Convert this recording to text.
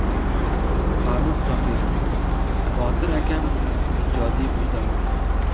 Farrux Zokirov: Botir akam ijodiy vijdonim.